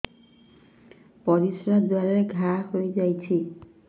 ପରିଶ୍ରା ଦ୍ୱାର ରେ ଘା ହେଇଯାଇଛି